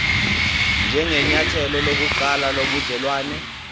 njengenyathelo lokuqala lobudelwane